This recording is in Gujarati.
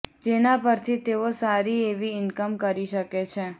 જેના પરથી તેઓ સારી એવી ઈન્કમ કરી શકે છે